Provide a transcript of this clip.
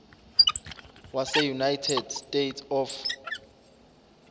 waseunited states of